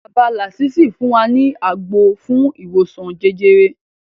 Bàbá làsísì fún wa ní àgbo fún ìwòsan jẹjẹrẹ